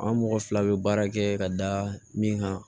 An mɔgɔ fila bɛ baara kɛ ka da min kan